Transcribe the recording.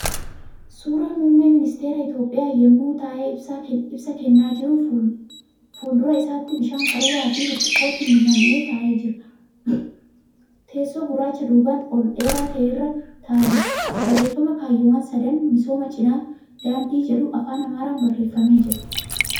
Suura muummee ministara Itiyoophiyaa yemmuu taa'ee ibsa kennaa jiru. Fuuldura isaatti bishaan qaruura fi burcuqqootti namme taa'ee jira. Teessoo gurraacha duubaan ol dheeraa ta'e irra taa'aa jira. Barreeffama ' kaayyoowwan sadan misooma cinaa daandii ' jedhu Afaan Amaaraan barreeffamee jira.